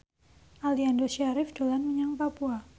Aliando Syarif dolan menyang Papua